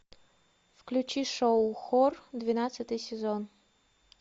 включи шоу хор двенадцатый сезон